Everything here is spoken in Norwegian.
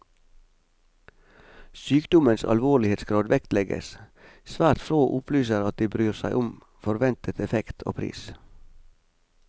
Sykdommens alvorlighetsgrad vektlegges, svært få opplyser at de bryr seg om forventet effekt og pris.